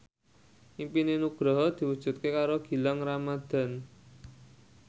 impine Nugroho diwujudke karo Gilang Ramadan